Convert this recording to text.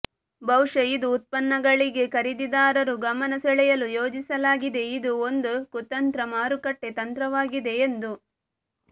ಬಹುಶಃ ಇದು ಉತ್ಪನ್ನಗಳಿಗೆ ಖರೀದಿದಾರರು ಗಮನ ಸೆಳೆಯಲು ಯೋಜಿಸಲಾಗಿದೆ ಇದು ಒಂದು ಕುತಂತ್ರ ಮಾರುಕಟ್ಟೆ ತಂತ್ರವಾಗಿದೆ ಎಂದು